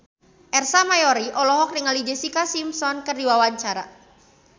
Ersa Mayori olohok ningali Jessica Simpson keur diwawancara